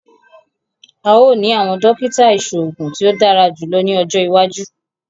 A óò ní awọn dókítà iṣoogun tí o dára jùlọ ní ọjọ iwájú